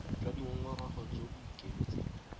jwa dingongorego jo bo ikemetseng